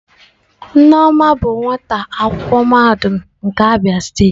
Nneoma bụ nwata akwụkwọ mahadum nke Abia steeti.